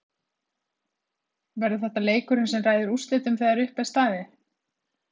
Verður þetta leikurinn sem ræður úrslitum þegar uppi er staðið?